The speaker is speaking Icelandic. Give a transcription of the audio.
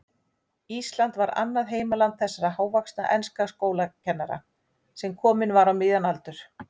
Ísland var annað heimaland þessa hávaxna enska skólakennara, sem kominn var á miðjan aldur.